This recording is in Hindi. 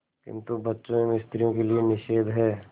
किंतु बच्चों एवं स्त्रियों के लिए निषेध है